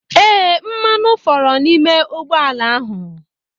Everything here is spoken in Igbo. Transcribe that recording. Ee, mmanụ foro n'ime ụgbọ ala ahụ.